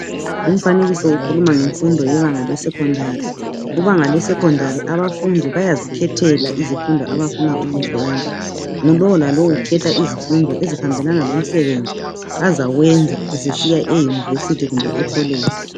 Lumfanekiso ukhuluma ngebanga leSecondary kubanga lesecondary abafundi bayazikhethela izifundo abafuna ukuzenza ngulo lalo ukhetha izifundo ezihambelana lomsebenzi azawenza sesiya e university kumbe ecollege